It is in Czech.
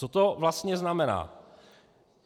Co to vlastně znamená?